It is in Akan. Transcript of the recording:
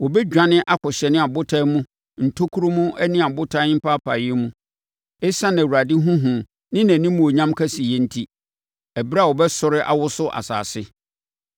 Wɔbɛdwane akɔhyɛne abotan mu ntokuro mu ne abotan mpaapaeɛ mu ɛsiane Awurade ho hu ne nʼanimuonyam kɛseyɛ enti, ɛberɛ a ɔbɛsɔre awoso asase.